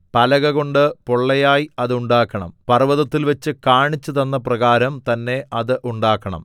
പലകകൊണ്ട് പൊള്ളയായി അത് ഉണ്ടാക്കണം പർവ്വതത്തിൽവച്ച് കാണിച്ചുതന്നപ്രകാരം തന്നെ അത് ഉണ്ടാക്കണം